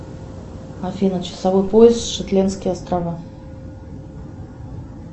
афина часовой пояс шетландские острова